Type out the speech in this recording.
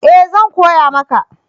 Ee! zan koya maka